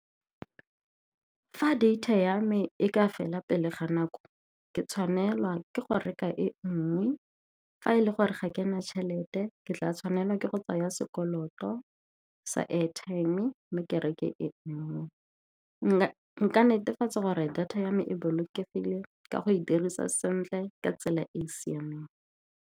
Fa data ya me e ka fela pele ga nako, ke tshwanelwa ke go reka e nngwe. Fa e le gore ga kena tšhelete, ke tla tshwanela ke go tsaya sekoloto sa airtime mme ke reke e nngwe. Nka netefatsa gore data ya me e bolokegile ka go e dirisa sentle ka tsela e e siameng.